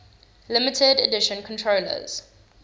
limited edition controllers